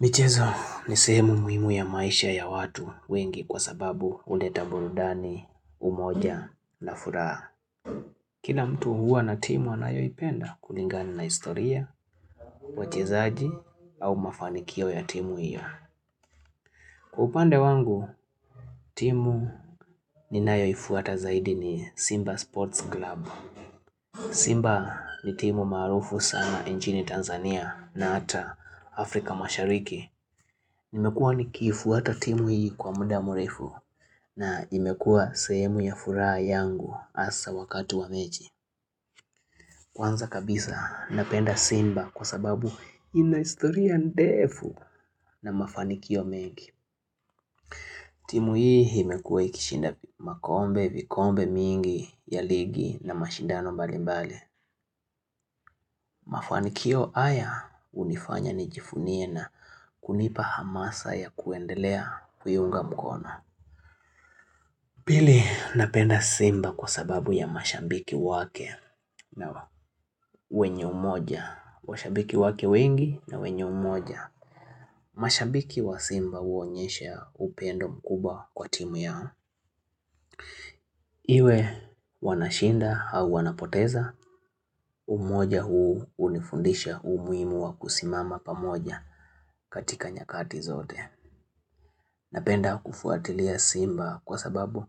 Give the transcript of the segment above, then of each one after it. Michezo ni sehemu muhimu ya maisha ya watu wengi kwa sababu huleta burudani, umoja na furaha. Kila mtu huwa na timu anayoipenda kulingani na historia, wachezaji au mafanikio ya timu hiyo. Kwa upande wangu, timu ni nayoifuata zaidi ni Simba Sports Club. Simba ni timu maarufu sana njini Tanzania na ata Afrika mashariki. Nimekuwa nikiifuata timu hii kwa muda murefu na imekuwa sehemu ya furaha yangu hasa wakati wa mechi. Kwanza kabisa napenda simba kwa sababu ina historia ndefu na mafanikio mengi. Timu hii imekuwa ikishinda makombe vikombe mingi ya ligi na mashindano mbali mbali. Mafanikio haya hunifanya nijivunie na kunipa hamasa ya kuendelea kuiunga mkono. Pili napenda simba kwa sababu ya mashambiki wake na wenye umoja, washambiki wake wengi na wenye umoja. Mashambiki wa simba huonyesha upendo mkubwa kwa timu yao. Iwe wanashinda au wanapoteza, umoja huu unifundisha umuhimu wa kusimama pamoja katika nyakati zote. Napenda kufuatilia simba kwa sababu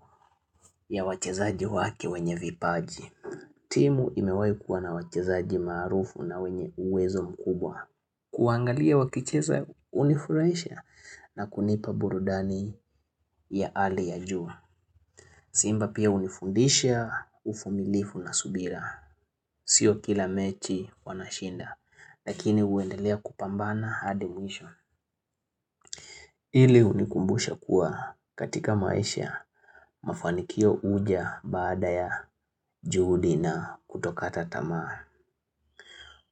ya wachezaji wake wenye vipaji. Timu imewahikuwa na wachezaji maarufu na wenye uwezo mkubwa. Kuangalia wakicheza hunifurahisha na kunipa burudani ya hali ya juu. Simba pia hunifundisha uvumilifu na subira. Sio kila mechi wanashinda. Lakini huendelea kupambana hadimwisho. Hili unikumbusha kuwa katika maisha mafanikio huja baada ya juhudi na kutokata tamaa.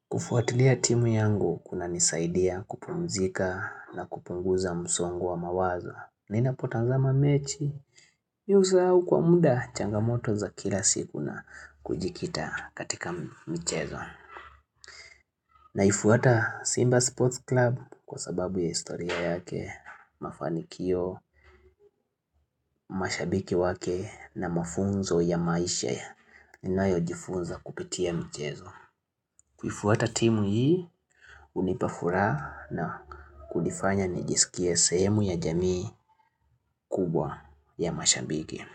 Kufuatilia timu yangu kuna nisaidia kupumzika na kupunguza msongo wa mawazo. Nina potazama mechi, mii husau kwa muda changamoto za kila siku na kujikita katika michezo. Naifuata Simba Sports Club kwa sababu ya historia yake, mafanikio, mashabiki wake na mafunzo ya maisha ninayo jifunza kupitia mchezo. Kuifuata timu hii hunipafuraha na kunifanya nijiskie sehemu ya jamii kubwa ya mashambiki.